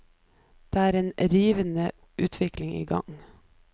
Det er en rivende utvikling i gang.